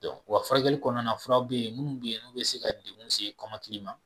Don wa furakɛli kɔɔna na furaw be ye minnu bi ye n'u bɛ se ka degun se kɔmakili ma